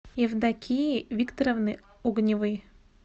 евдокии викторовны огневой